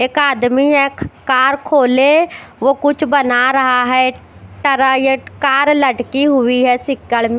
एक आदमी एक कार खोलें वो कुछ बना रहा है कार लटकी हुई है सिक्कड़ में --